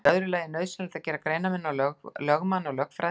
Í öðru lagi er nauðsynlegt að gera greinarmun á lögmanni og lögfræðingi.